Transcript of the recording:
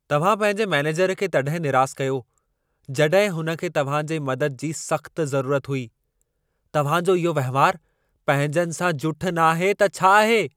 तव्हां पंहिंजे मैनेजर खे तॾहिं निरासु कयो, जॾहिं हुन खे तव्हां जे मदद जी सख़्तु ज़रूरत हुई। तव्हां जो इहो वहिंवारु पंहिंजनि सां जुठि नाहे त छा आहे?